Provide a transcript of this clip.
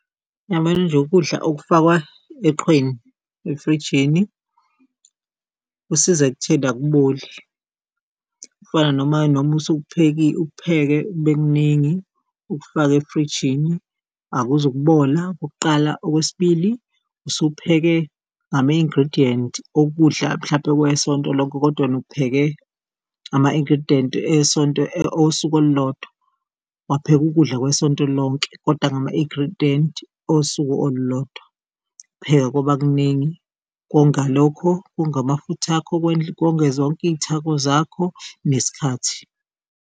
Uyabona nje, ukudla okufakwa eqhweni efrijini kusiza ekutheni akuboli, kufana noma, noma ukupheke kubekukuningi ukufake efrijini akuzukubola okokuqala, okwesibili usupheke ngama-ingredient okudla mhlampe kwesonto lonke, kodwa wena upheke ama-ingredient esonto osuku olulodwa, wapheka ukudla kwesonto lonke kodwa ngama-ingredient osuku olulodwa. Pheka kwaba kuningi konga lokho konga amafutha akho konge zonke iy'thako zakho nesikhathi.